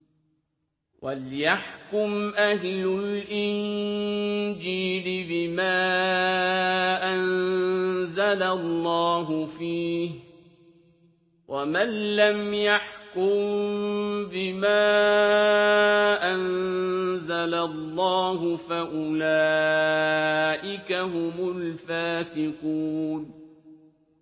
وَلْيَحْكُمْ أَهْلُ الْإِنجِيلِ بِمَا أَنزَلَ اللَّهُ فِيهِ ۚ وَمَن لَّمْ يَحْكُم بِمَا أَنزَلَ اللَّهُ فَأُولَٰئِكَ هُمُ الْفَاسِقُونَ